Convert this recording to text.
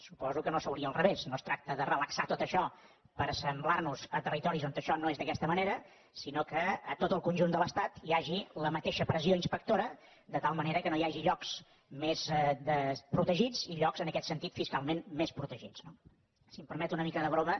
suposo que no seria al revés no es tracta de relaxar tot això per assemblar nos a territoris on això no és d’aquesta manera sinó que a tot el conjunt de l’estat hi hagi la mateixa pressió inspectora de tal manera que no hi hagi llocs més desprotegits i llocs en aquest sentit fiscalment més protegits no si em permet una mica de broma